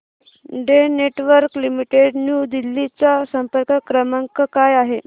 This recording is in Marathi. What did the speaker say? Den networks limited New Delhi चा संपर्क क्रमांक काय आहे